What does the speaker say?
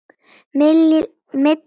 Milli trjánna